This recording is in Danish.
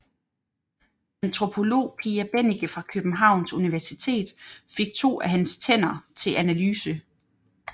Antropolog Pia Bennike fra Københavns Universitet fik to af hans tænder til analyse